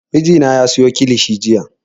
Mijina ya siyo kilishi jiya